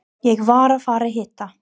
Ég var að fara að hitta